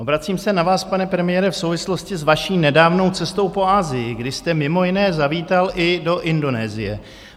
Obracím se na vás, pane premiére, v souvislosti s vaší nedávnou cestou po Asii, kdy jste mimo jiné zavítal i do Indonésie.